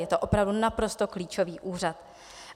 Je to opravdu naprosto klíčový úřad.